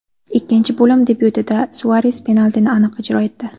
Ikkinchi bo‘lim debyutida Suares penaltini aniq ijro etdi.